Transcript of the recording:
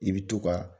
I bɛ to ka